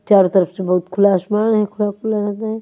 चारो तरफ से बहुत खुला आसमान हैं खुला खुला लगरा हैं।